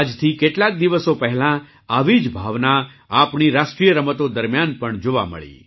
આજથી કેટલાક દિવસો પહેલાં આવી જ ભાવના આપણી રાષ્ટ્રીય રમતો દરમિયાન પણ જોવા મળી